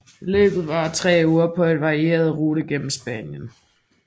Løbet varer tre uger på en varierende rute gennem Spanien